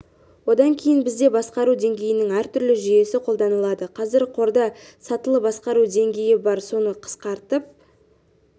одан кейін бізде басқару деңгейінің әртүрлі жүйесі қолданылады қазір қорда сатылы басқару деңгейі бар соны қысқартып